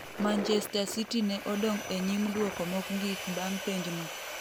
Manchester City ne odong' e nyim duoko mokgik bang' penj no.